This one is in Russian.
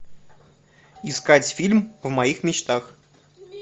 искать фильм в моих мечтах